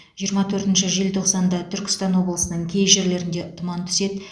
жиырма төртінші желтоқсанда түркістан облысының кей жерлеріне тұман түседі